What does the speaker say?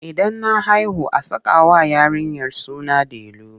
Idan na haihu a sakawa yarinyar suna delu.